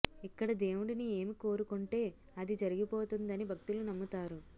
ఇక్కడ దేవుడిని ఏమి కోరుకొంటే అది జరిగిపోతుందని భక్తులు నమ్ముతారు